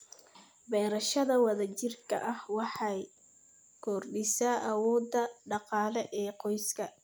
Beerashada wadajirka ahi waxay kordhisaa awoodda dhaqaale ee qoyska.